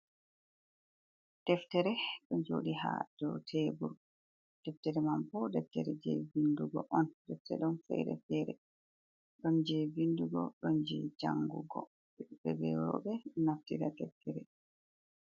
Ɗeftere ɗo jodi ha ɗow teburu. Ɗeftere man bo ɗeftere je vinɗugo on. Ɗefte ɗon fere fere. Ɗon je vinɗugo ɗon je jangugo worbe be robe naftirɗa ɗeftere.